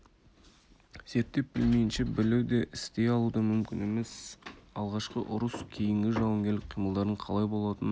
зерттеп білмейінше білу де істей алу да мүмкін емес алғашқы ұрыс кейінгі жауынгерлік қимылдардың қалай болатынын